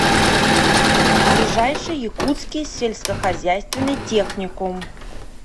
ближайший якутский сельскохозяйственный техникум